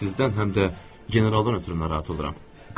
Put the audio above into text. Sizdən həm də generaldan ötrü narahat oluram.